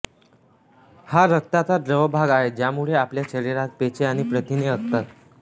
हा रक्ताचा द्रव भाग आहे ज्यामुळे आपल्या शरीरात पेशी आणि प्रथिने असतात